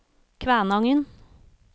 Kvænangen